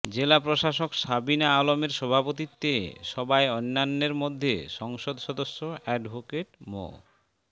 জেলা প্রশাসক সাবিনা আলমের সভাপতিত্বে সবায় অন্যান্যের মধ্যে সংসদ সদস্য এডভোকেট মো